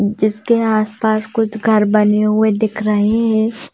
जिसके आसपास कुछ घर बने हुए दिख रहे हैं।